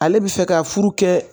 Ale bi fɛ ka furu kɛ